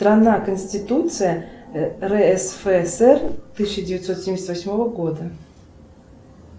страна конституция рсфср тысяча девятьсот семьдесят восьмого года